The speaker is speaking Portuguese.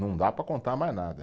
Não dá para contar mais nada.